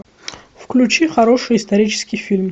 включи хороший исторический фильм